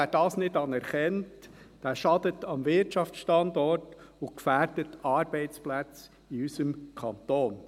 Wer das nicht anerkennt, schadet dem Wirtschaftsstandort und gefährdet Arbeitsplätze in unserem Kanton.